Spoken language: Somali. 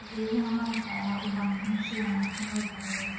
Geedaha malabka ayaa u baahan in si wanaagsan loo daryeelo.